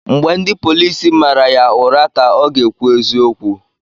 Mgbe ndị polisi mara ya ụra ka ọ ga-ekwu eziokeu